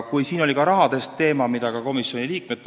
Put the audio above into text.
Siin oli jutuks ka rahateema, mille vastu tundsid huvi ka komisjoni liikmed.